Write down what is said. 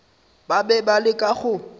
ba be ba leka go